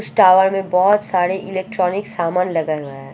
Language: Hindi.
इस टावर में बहोत सारे इलेक्ट्रॉनिक सामान लगाये हुए है।